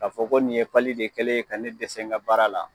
K'a fɔ ko nin ye pali de kɛlen ye ka ne dɛsɛ n ka baara la